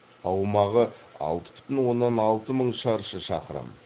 аумағы алты бүтін оннан алты мың шаршы шақырым